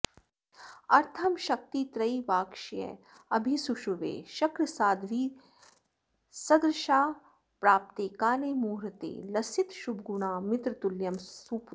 अर्थं शक्तित्रयीवाक्षयमभिसुषुवे शक्रसाध्वीसदृक्षा प्राप्ते काले मुहूर्ते लसितशुभगुणा मित्रतुल्यं सुपुत्रम्